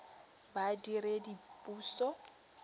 badiredipuso